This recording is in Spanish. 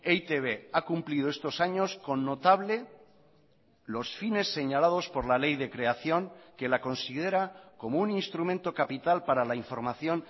e i te be ha cumplido estos años con notable los fines señalados por la ley de creación que la considera como un instrumento capital para la información